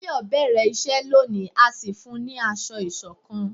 Tayo bẹrẹ iṣẹ lóni a sì fún ní asọ isokan